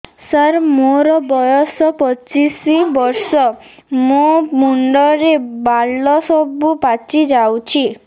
ସାର ମୋର ବୟସ ପଚିଶି ବର୍ଷ ମୋ ମୁଣ୍ଡରେ ବାଳ ସବୁ ପାଚି ଯାଉଛି